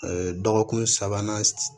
dɔgɔkun sabanan